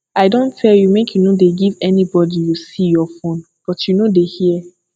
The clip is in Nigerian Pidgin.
i don tell you make you no dey give anybody you see your phone but you no dey hear